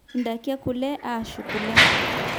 indaiki ekule aashu kule